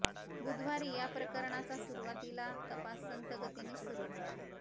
बुधवारी या प्रकरणाचा सुरवातीला तपास संथ गतीनेच सुरू होता